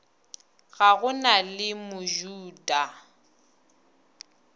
ga go na le mojuda